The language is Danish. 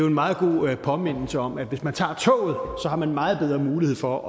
en meget god påmindelse om at hvis man tager toget har man meget bedre mulighed for